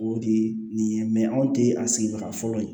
O de ye nin ye anw te a sigibaga fɔlɔ ye